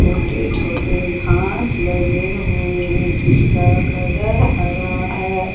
छोटे छोटे घास लगे हुए हैं जिसका कलर हरा है।